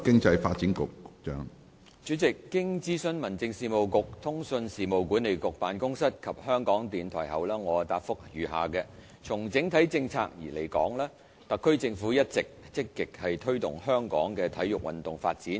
主席，經諮詢民政事務局、通訊事務管理局辦公室及香港電台後，我答覆如下：從整體政策而言，特區政府一直積極推動香港的體育運動發展。